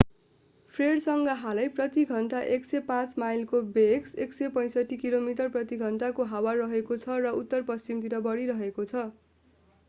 फ्रेडसँग हालै प्रति घण्टा 105 माइलको वेग 165 किमी/ घण्टा को हावा रहेको छ र उत्तर पश्चिम तिर बढिरहेको छ।